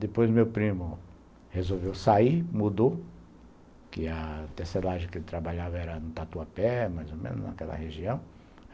Depois, meu primo resolveu sair, mudou, porque a tecelagem em que ele trabalhava era no Tatuapé, mais ou menos naquela região.